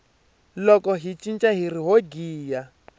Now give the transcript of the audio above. loko hi cina hiri ho giya